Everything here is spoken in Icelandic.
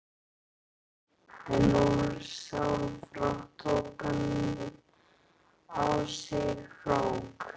En ósjálfrátt tók hann á sig krók.